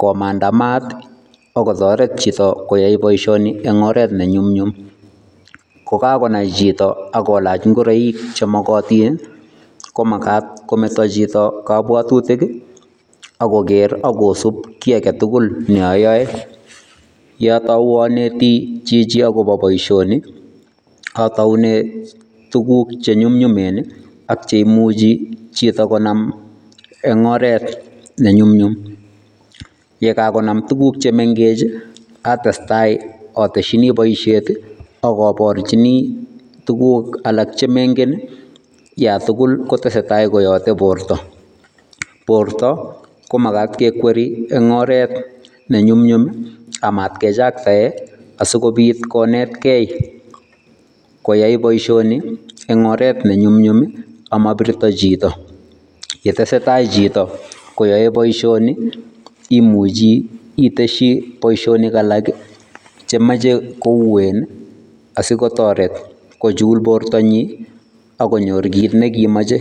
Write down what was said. komanda maat ii ako kotoret chito ko yae boisioni eng oret ne nyumnyum, kokakonai chito ak kolach ngoroik che mokotin ii, ko makat kometo chito kabwatutik ii, ako ker akosup kiy ake tugul ne ayoe, ye atou aneti chichi akobo boisioni, ataune tukuk che nyumnyumen ii, ak cheimuchi chito konam eng oret ne nyumnyum, ye kakonam tukuk chemengech ii atestai ataschini boisiet ii ak aborchini tukuk alak che mengen ii yatugul kotesetai koyote borta, borta komakat kekweri eng oret ne nyumnyum ii amat kechaktae asikobit konetkei koyai boisioni eng oret ne nyumnyum ii amabirto chito, ye tesetai chito koyae boisioni imuchi itesyi boisionik alak ii chemoche kouen ii, asi kotoret kochul bortanyi ak konyor kiit ne kimoche.